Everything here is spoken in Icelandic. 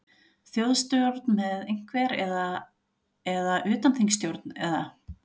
Þjóðstjórn með einhver, eða, eða utanþingsstjórn eða?